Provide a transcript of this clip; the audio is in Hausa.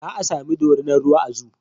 Za a sami dorinar ruwa a zoo